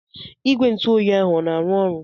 Igwe ntụ oyi ahụ o na-arụ ọrụ?